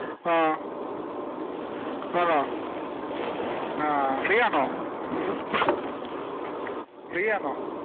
ആഹ് ആഹ് അഹ് free ആന്നോ free ആന്നോ